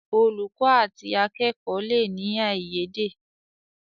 Olùkó àti akẹkọ le ní aiyede.